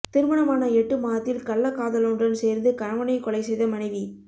திருமணமான எட்டு மாதத்தில் கள்ளக்காதலனுடன் சேர்ந்து கணவனை கொலை செய்த மனைவி